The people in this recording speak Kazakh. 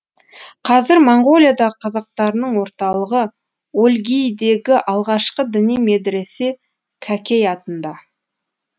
қазір моңғолиядағы қазақтарының орталығы өлгийдегі алғашқы діни медіресе кәкей атында